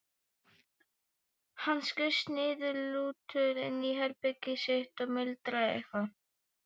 Hann skaust niðurlútur inn í herbergið sitt og muldraði eitthvað.